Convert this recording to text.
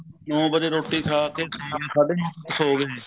ਨੋ ਵਜੇ ਰੋਟੀ ਖਾ ਕੇ ਨੋ ਸਾਡੇ ਨੋ ਸੋ ਜਾਂਦੇ